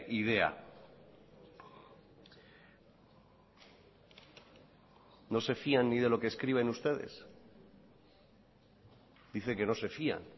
idea no se fían ni de lo que escriben ustedes dice que no se fían